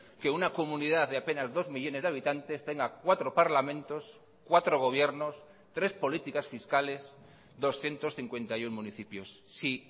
que una comunidad de apenas dos millónes de habitantes tenga cuatro parlamentos cuatro gobiernos tres políticas fiscales doscientos cincuenta y uno municipios si